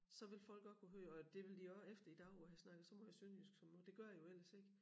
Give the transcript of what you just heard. Så vil folk også kunne høre og det vil de også efter i dag hvor jeg har snakket så måj sønderjysk som nu det gør jeg jo ellers ikke